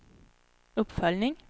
uppföljning